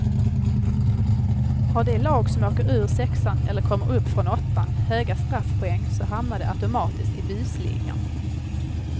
Har de lag som åker ur sexan eller kommer upp från åttan höga straffpoäng så hamnar de automatiskt i busligan.